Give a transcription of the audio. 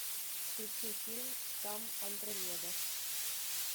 включи фильм штамм андромеда